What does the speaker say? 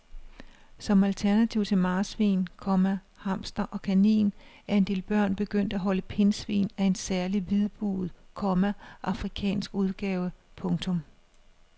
Som alternativ til marsvin, komma hamster og kanin er en del børn begyndt at holde pindsvin af en særlig hvidbuget, komma afrikansk udgave. punktum